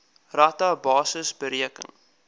rata basis bereken